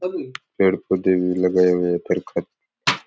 पेड़ पौधे भी लगे हुए है।